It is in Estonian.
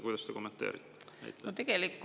Kuidas te seda kommenteerite?